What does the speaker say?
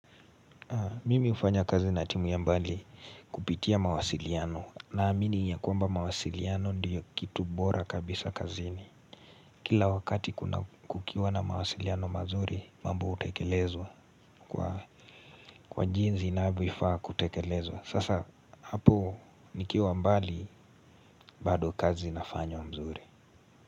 Mimi hufanya kazi na timu ya mbali kupitia mawasiliano naamini ya kwamba mawasiliano ndiyo kitu bora kabisa kazini. Kila wakati kuna kukiwa na mawasiliano mazuri mambo hutekelezwa kwa jinsi inavyofaa kutekelezwa. Sasa hapo nikiwa mbali bado kazi nafanya nzuri.